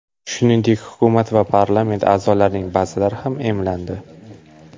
Shuningdek, hukumat va parlament a’zolarining ba’zilari ham emlandi.